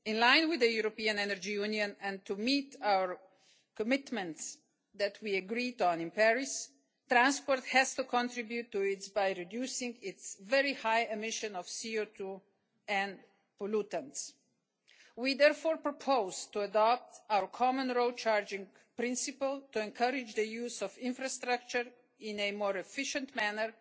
In line with the European Energy Union, and to meet the commitments we made in Paris, transport has to contribute by reducing its very high emissions of CO2 and pollutants. We therefore propose to adopt our common road charging principle to encourage the use of infrastructure in a more efficient